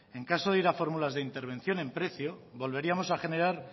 en caso de ir a fórmulas de intervención en precio volveríamos a generar